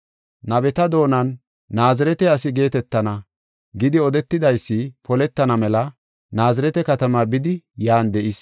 Nabeta doonan, “Naazirete asi geetetana” gidi odetidaysi poletana mela Naazirete katamaa bidi yan de7is.